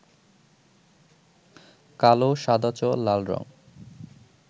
কালো, সাদাচ, লাল রং